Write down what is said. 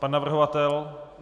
Pan navrhovatel?